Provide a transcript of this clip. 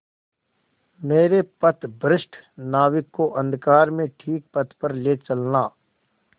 मेरे पथभ्रष्ट नाविक को अंधकार में ठीक पथ पर ले चलना